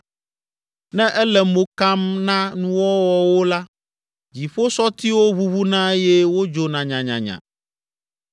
Ne ele mo kam na nuwɔwɔwo la, dziƒosɔtiwo ʋuʋuna eye wodzona nyanyanya.